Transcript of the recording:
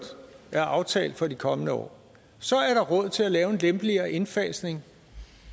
er aftalt for de kommende år at lave en lempeligere indfasning